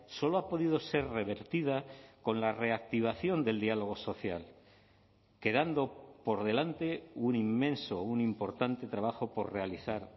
solo ha podido ser revertida con la reactivación del diálogo social quedando por delante un inmenso un importante trabajo por realizar